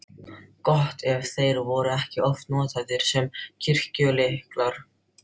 Gott ef þeir voru ekki oft notaðir sem kirkjulyklar.